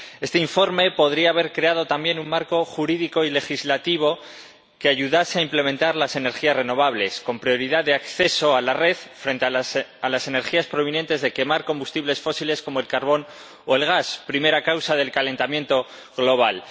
Este informe podría haber creado también un marco jurídico y legislativo que ayudase a implementar las energías renovables, con prioridad de acceso a la red, frente a las energías provenientes de quemar combustibles fósiles como el carbón o el gas, primera causa del calentamiento global.